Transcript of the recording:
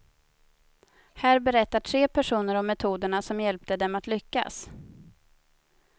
Här berättar tre personer om metoderna som hjälpte dem att lyckas.